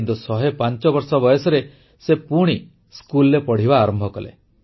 କିନ୍ତୁ 105 ବର୍ଷ ବୟସରେ ସେ ପୁଣି ସ୍କୁଲରେ ପଢ଼ିବା ଆରମ୍ଭ କଲେ